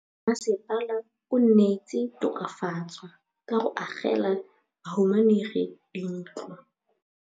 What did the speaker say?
Mmasepala o neetse tokafatsô ka go agela bahumanegi dintlo.